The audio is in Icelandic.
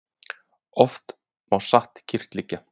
Oft má satt kyrrt liggja.